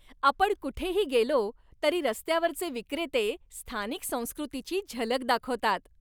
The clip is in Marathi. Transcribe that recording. आपण कुठेही गेलो तरी रस्त्यावरचे विक्रेते स्थानिक संस्कृतीची झलक दाखवतात.